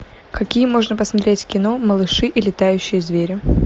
какие можно посмотреть кино малыши и летающие звери